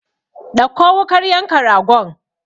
Ɗauko wukar yanka ragon!